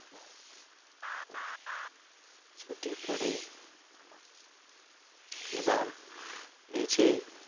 ছুটি পরে এবার নিজেই